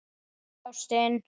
Hæ, ástin.